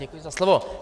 Děkuji za slovo.